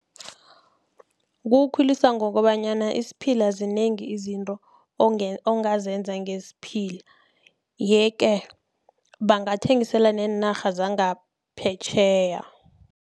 Kuwukhulisa ngokobanyana, zinengi izinto ongazenza ngesphila. Yeke, bangathengisela neenarha zangaphetjheya.